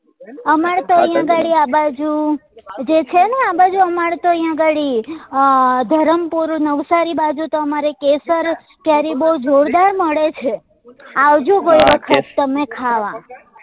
અમર તો અહિયાં ગાડી આ બાજુ જે છે ને આ બાજુ અમાર તો અહ્યા ગાડી અ ધરમપુર નવસારી બાજુ તો અમાર કેસર કેરી બઉ જોરદાર મળશે છે આવજો કોઈ વખત તમે ખાવા